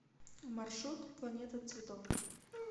маршрут планета цветов